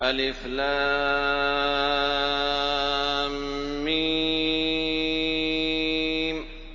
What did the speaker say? الم